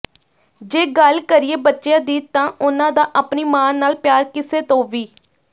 ਜੇ ਗੱਲ ਕਰੀਏ ਬੱਚਿਆਂ ਦੀ ਤਾਂ ਉਨ੍ਹਾਂ ਦਾ ਆਪਣੀ ਮਾਂ ਨਾਲ ਪਿਆਰ ਕਿਸੇ ਤੋਂ ਵੀ